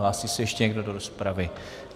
Hlásí se ještě někdo do rozpravy?